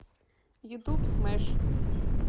ютуб смэш